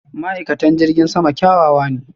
ma'aikatan jirgin sama kyawawa ne.